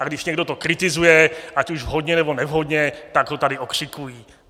A když to někdo kritizuje, ať už vhodně, nebo nevhodně, tak ho tady okřikují.